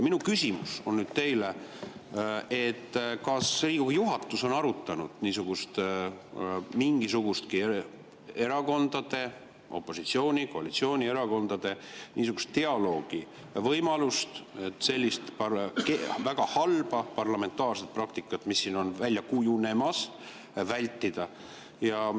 Minu küsimus teile on: kas Riigikogu juhatus on arutanud mingisugustki opositsiooni- ja koalitsioonierakondade niisuguse dialoogi võimalust, et sellist väga halba parlamentaarset praktikat, mis siin on välja kujunemas, vältida?